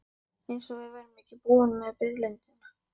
Eins og við værum ekki búin með biðlundina.